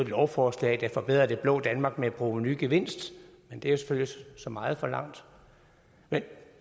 lovforslag der forbedrede det blå danmark med en provenugevinst men det er selvfølgelig så meget forlangt men